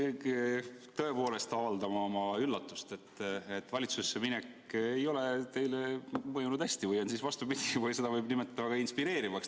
Ma pean tõepoolest väljendama oma üllatust, et valitsusse minek ei ole teile hästi mõjunud või on siis vastupidi ja seda võib nimetada teid inspireerivaks.